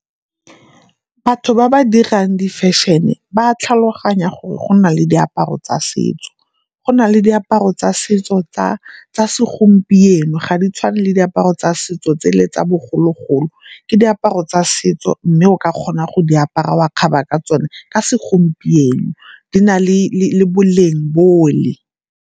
Batho ba ba dirang di-fashion-e ba a tlhaloganya gore go na le diaparo tsa setso. Go na le diaparo tsa setso tsa segompieno ga di tshwane le diaparo tsa setso tse le tsa bogologolo, ke diaparo tsa setso mme o ka kgona go di apara wa kgaba ka tsone ka segompieno di na le boleng bole.